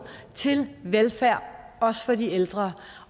til velfærd også for de ældre